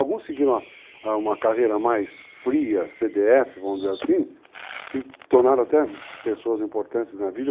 Alguns seguiram uma carreira mais fria, CDF, vamos dizer assim, se tornaram até pessoas importantes na vida.